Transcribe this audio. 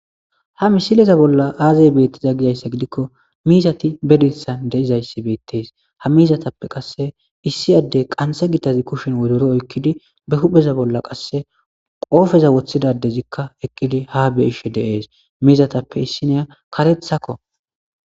ha misileza bolla aazay beettiza gizayssa gidikko miizati bedithan deizayssi beettes ha miizatappe qasse issi adde qanse gitazi kushin wodoro oykkidi be hupheza bolla qasse qoofeza woththidadezikka eqqidi ha beishe deees miizatappe issiniya katethakko